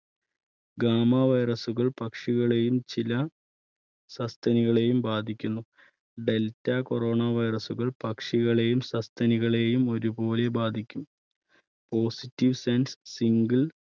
gama virus കൾ പക്ഷികളെയും ചില സസ്തനികളെയും ബാധിക്കുന്നു. delta corona virus കൾ പക്ഷികളെയും സസ്തിനികളെയും ഒരുപോലെ ബാധിക്കും positive sense single